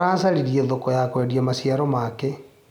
Aracaririe thoko ya kwendia maciaro make.